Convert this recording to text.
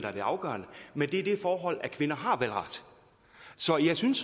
er det afgørende men det er det forhold at kvinder har valgret så jeg synes